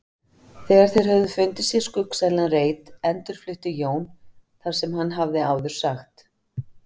Þegar þeir höfðu fundið sér skuggsælan reit endurflutti Jón það sem hann hafði áður sagt.